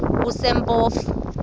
kusempofu